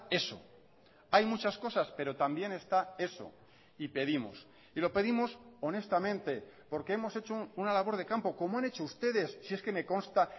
eso hay muchas cosas pero también está eso y pedimos y lo pedimos honestamente porque hemos hecho una labor de campo como han hecho ustedes si es que me consta